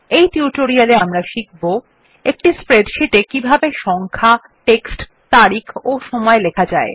এই টিউটোরিয়াল এ আমরা শিখব একটি স্প্রেডশীট এ কিভাবে সংখ্যা টেক্সট তারিখ ও সময় লেখা যায়